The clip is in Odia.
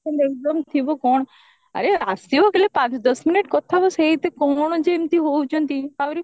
income ଥିବ କଣ ଆରେ ଆସିବା ଖାଲି ପାଞ୍ଚ ଦଶ minute କଥା ହବ ସେଇଟା କଣ ଯେ ଏମତି ହଉଚନ୍ତି